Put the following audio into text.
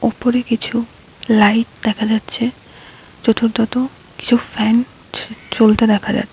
উপরে কিছু লাইট দেখা যাচ্ছে যত্রতত্র কিছু ফ্যান চলতে দেখা যা--